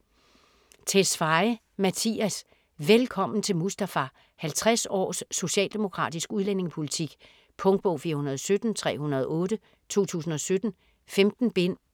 Tesfaye, Mattias: Velkommen Mustafa 50 års socialdemokratisk udlændingepolitik. Punktbog 417308 2017. 15 bind.